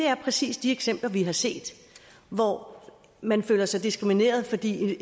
er præcis de eksempler vi har set hvor man føler sig diskrimineret fordi